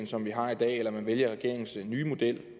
som vi har i dag eller man vælger regeringens nye model